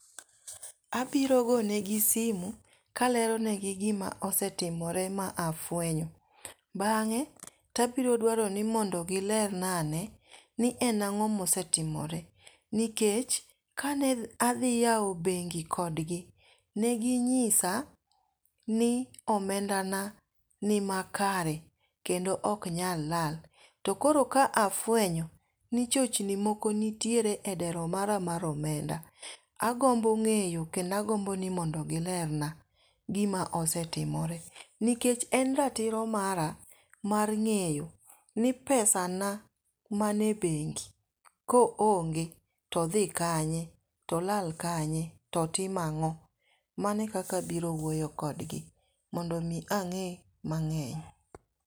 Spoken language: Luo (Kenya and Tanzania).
Abiro gone gi simu kalero ne gi gima osetimore ma afwenyo. Bang'e tabiro dwaro ni mondo gilerna ane ni en ang'o mosetimore, nikech kane adhi yawo bengi kodgi ,ne ginyisa ni omenda na ni ma kare kendo ok nyal lal. To koro ka afwenyo ni chochni moko nitie e dero mara mar omenda agombo ng'eyo kendo agombo ni mondo gilerna gimo setimore nikech en ratiro mara mar ng'eyo ni pesa na man e bengi koonge todhi kanye to lal kanye to tima ng'o. Mane kaka biro wuoyo kodgi mondo mi ang'e mang'eny.